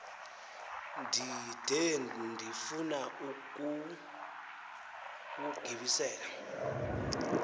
ndide ndifun ukuwugibisela